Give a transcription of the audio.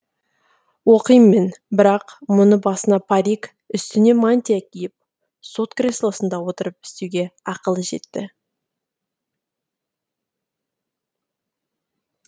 оқим мен бірақ мұны басына парик үстіне мантия киіп сот креслосында отырып істеуге ақылы жетті